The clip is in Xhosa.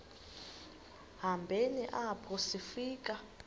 hambeni apho sifika